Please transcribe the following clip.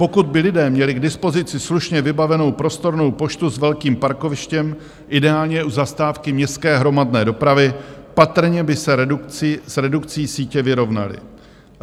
Pokud by lidé měli k dispozici slušně vybavenou prostornou poštu s velkým parkovištěm, ideálně u zastávky městské hromadné dopravy, patrně by se s redukcí sítě vyrovnali.